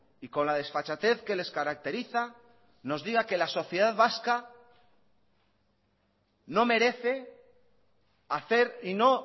y con la desfachatez que les caracteriza nos diga que la sociedad vasca no merece hacer y no